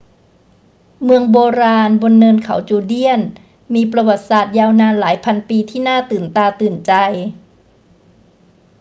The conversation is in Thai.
เมืองโบราณบนเนินเขาจูเดียนมีประวัติศาสตร์ยาวนานหลายพันปีที่น่าตื่นตาตื่นใจ